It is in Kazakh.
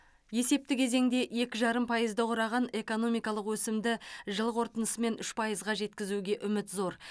есепті кезеңде екі жарым пайызды құраған экономикалық өсімді жыл қорытындысымен үш пайызға жеткізуге үміт зор